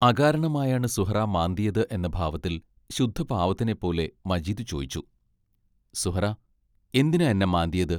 അകാരണമായാണ് സുഹ്റാ മാന്തിയത് എന്ന ഭാവത്തിൽ ശുദ്ധപാവത്തിനെപ്പോലെ മജീദ് ചോയ്ച്ചു: സുഹ്റാ എന്തിനാ എന്നെ മാന്തിയത്?